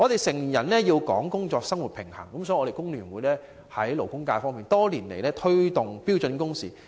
成年人講求工作和生活平衡，所以，工聯會在勞工界多年來一直推動標準工時。